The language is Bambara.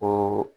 Ko